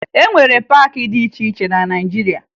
E nwere paakị dị iche iche na Naịjiria